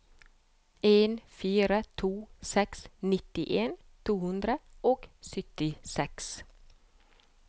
en fire to seks nittien to hundre og syttiseks